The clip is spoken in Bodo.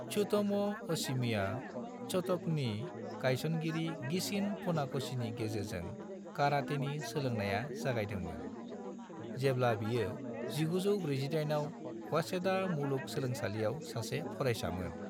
त्सुतोमू ओहशिमाया शोटोकननि गायसनगिरि गिचिन फुनाकोशीनि गेजेरजों कारातेनि सोलोंनाया जागायदोंमोन, जेब्ला बियो 1948 आव वासेदा मुलुग सोलोंसालिआव सासे फरायसामोन।